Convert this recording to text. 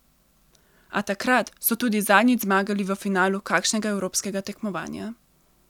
A takrat so tudi zadnjič zmagali v finalu kakšnega evropskega tekmovanja.